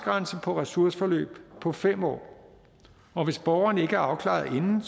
grænse på ressourceforløb på fem år og hvis borgeren ikke er afklaret inden